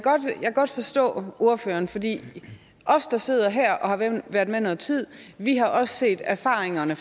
godt forstå ordføreren fordi os der sidder her og været med noget tid har også set erfaringerne